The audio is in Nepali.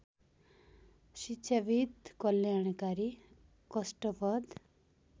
शिक्षाविद् कल्याणकारी कष्टप्रद